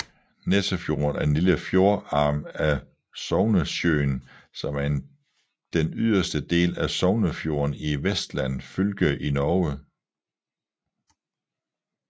Nessefjorden er en lille fjordarm af Sognesjøen som er den yderste del af Sognefjorden i Vestland fylke i Norge